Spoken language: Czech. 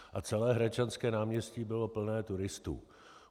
A celé Hradčanské náměstí bylo plné turistů.